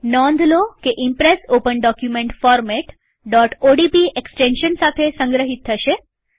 નોંધલોકે Impress open document format ODP extension સાથે સંગ્રહિત થશે